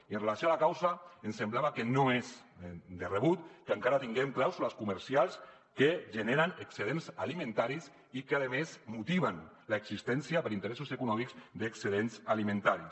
i amb relació a la causa ens semblava que no és de rebut que encara tinguem clàusules comercials que generen excedents alimentaris i que a més motiven l’existència per interessos econòmics d’excedents alimentaris